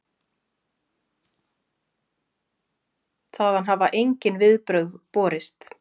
Þaðan hafa engin viðbrögð borist.